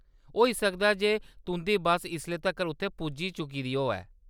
होई सकदा ऐ जे तुंʼदी बस्स इसले तक्कर उत्थै पुज्जी चुकी दी होऐ।